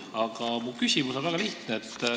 Aga mu küsimus on väga lihtne.